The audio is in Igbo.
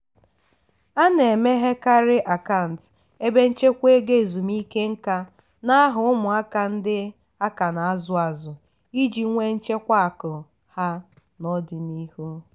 a na-emeghekarị akant ebe nchekwa ego ezumike nkā n'aha ụmụaka ndị aka na-azụ azụ iji nwee nchekwa akụ ha n'ọdịnihu.